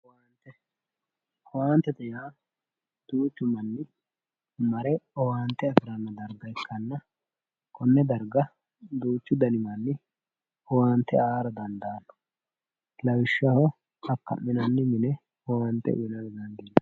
owaantete yaa duuchu manni mare owaante afi'ranno darga ikkanna konne darga duuchu dani manni owaante aara dandaaanno lawishshaho akka'minanni mine owaante uyiinanniwaati.